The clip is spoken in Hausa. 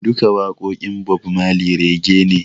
Duka waƙoƙin Bob Marley Rege ne